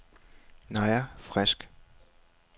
Naja Frisk